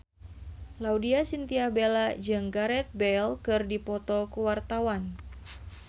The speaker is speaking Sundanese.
Laudya Chintya Bella jeung Gareth Bale keur dipoto ku wartawan